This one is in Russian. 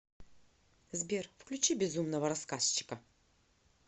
сбер включи безумного рассказчика